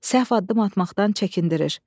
Səhv addım atmaqdan çəkindirir.